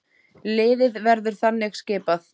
Liðið verður þannig skipað